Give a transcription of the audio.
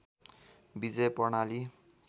विजय प्रणाली